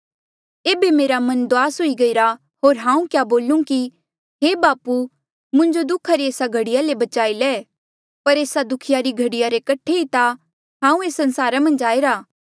एेबे मेरा मन दुआस हुई गईरा होर हांऊँ क्या बोलू कि हे बापू मुंजो दुःखा री एस्सा घड़ीया ले बचाई ले पर एस्सा दुःखा री घड़ीया रे कठे ता ई हांऊँ एस संसारा मन्झ आईरा